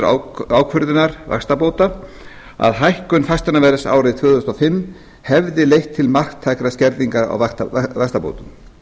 niðurstöðu ákvörðunar vaxtabóta að hækkun fasteignaverðs árið tvö þúsund og fimm hefði leitt til marktækrar skerðingar á vaxtabótum